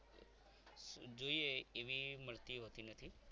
જોઈએ એવી મળતી હોતી નથી.